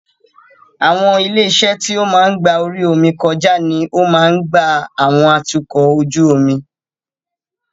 Àwọn ilé-iṣẹ́ tí ó ń gba orí omi kó ọjà ní o máa ń gba àwọn atukọ̀ ojú omi.